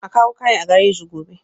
A kawo kayan a gareji gobe